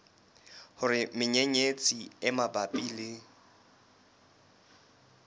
hore menyenyetsi e mabapi le